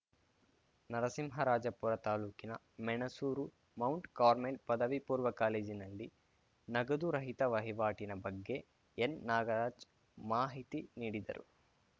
ನರಸಿಂಹರಾಜಪುರ ತಾಲೂಕಿನ Menasuru Mount Carmel ಪದವಿ ಪೂರ್ವ ಕಾಲೇಜಿನಲ್ಲಿ ನಗದು ರಹಿತ ವಹಿವಾಟಿನ ಬಗ್ಗೆ ಎನ್‌ನಾಗರಾಜ್‌ ಮಾಹಿತಿ ನೀಡಿದರು